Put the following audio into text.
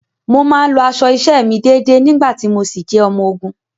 Mo máa ń lọ aṣọ iṣẹ́ mi déedée nígbà tí mo ṣì jẹ́ ọmọ ogun.